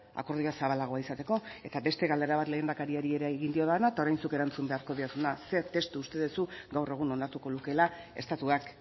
akordioa zabalago izateko eta beste galdera bat lehendakariari ere egin diodana eta orain zuk erantzun beharko didazuna zein testu uste duzu gaur egun onartuko lukeela estatuak